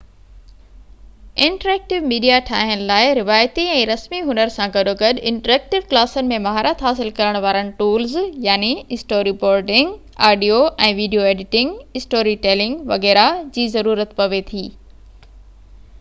interactive media ٺاهڻ لاءِ روايتي ۽ رسمي هنر سان گڏوگڏ انٽرايڪٽو ڪلاسن ۾ مهارت حاصل ڪرڻ وارن tools storyboarding, audio ۽ video editing, storytelling وغيره جي ضرورت پوي ٿي